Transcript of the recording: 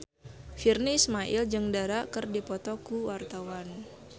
Virnie Ismail jeung Dara keur dipoto ku wartawan